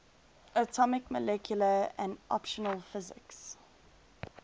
atomic molecular and optical physics